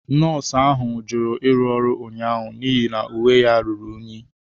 Nọọsụ ahụ jụrụ ịrụ ọrụ ụnyaahụ n'ihi na uwe ya ruru unyi.